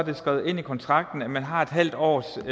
det skrevet ind i kontrakten at man har en halv års